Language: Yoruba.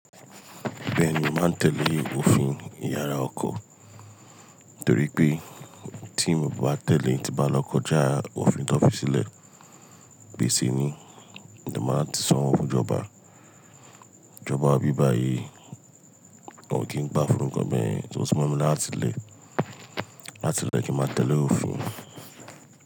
Bẹ́ẹ̀ni, màá tẹ̀lé òfin Ìyàrá ọkọ̀ torí pé tí mi o bá tẹ̀lé tí bá lọ kọjá òfin tó fi sílẹ̀, gbèsè ni, èmi máa tún san òwó fún ìjọba. Ìjọba ibí báyìí wọn ò kí ń gbá fún nnkan bẹ́ẹ́, o tí mọ mi làrá láti ilẹ̀, láti ilẹ̀ kí n máa tẹ̀lé òfin.